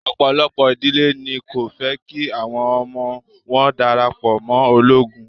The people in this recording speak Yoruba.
Ọ̀pọ̀lọpọ̀ ìdílé ni kò fẹ́ kí àwọn ọmọ wọn darapọ̀ mọ́ ológun.